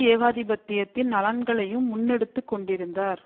ஏகாதிபத்தியத்தின் நலன்களையும் முன்னெடுத்துக் கொண்டிருந்தார்